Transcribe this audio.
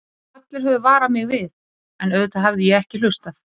Allir höfðu varað mig við, en auðvitað hafði ég ekki hlustað.